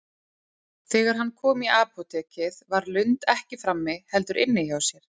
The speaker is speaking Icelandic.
Þegar hann kom í apótekið var Lund ekki frammi, heldur inni hjá sér.